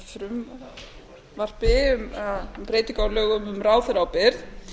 hér með frumvarpi um breytingu á lögum um ráðherraábyrgð